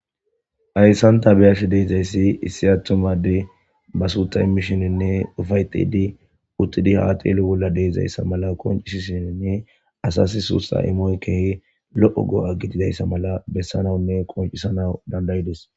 Hayssan tha be7ashe de7izayssi issi aththuma addee ba suuththa immishiininne ufayththiiddi uththidi haa xeelo bolla de7izayssa mala qonccissishiininne asassi suuththaa imoy keehi lo7o go7a gididayssa mala bessanawunne qonccissanawu dandayi des.